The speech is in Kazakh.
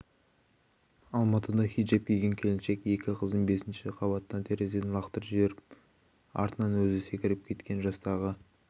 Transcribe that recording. алматыда хиджап киген келіншек екі қызын бесінші қабаттағы терезеден лақтырып жіберіп артынан өзі секіріп кеткен жастағы